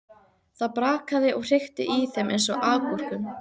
Það brakaði og hrikti í þeim eins og agúrkum.